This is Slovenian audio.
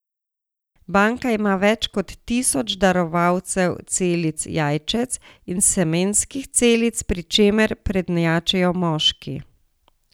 Banka ima več kot tisoč darovalcev celic jajčec in semenskih celic, pri čemer prednjačijo moški.